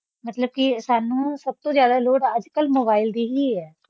ਮਤਲਬ ਕਿ ਸਾਨੂੰ ਸਭ ਤੋਂ ਜ਼ਿਆਦਾ ਲੋੜ ਅੱਜ ਕੱਲ੍ਹ mobile ਦੀ ਹੀ ਹੈ।